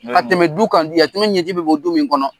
Ka tɛmɛ du kan di yatimɛ ɲɛji bɛ bɔ du min kɔnɔ.